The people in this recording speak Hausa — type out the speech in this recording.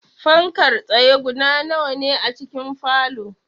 Fankar tsaye guda nawa ne a cikin falow?